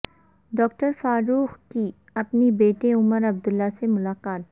doctor Farooq کی اپنے بیٹے عمر عبداللہ سے ملاقات